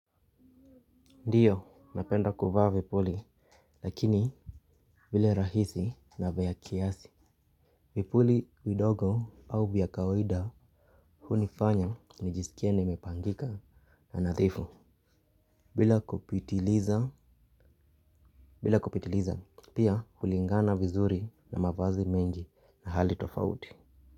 Ndio, napenda kuvaa vipuli, lakini vile rahisi na vya kiasi. Vipuli vidogo au vya kawaida hunifanya nijisikie nimepangika na nadhifu. Bila kupitiliza, pia hulingana vizuri na mavazi mengi na hali tofauti.